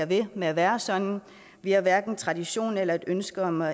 ved med at være sådan vi har hverken tradition eller et ønske om at